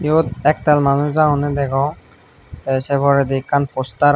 eyot ektal manuch agondey degong tey sei porendi ekkan poster agey.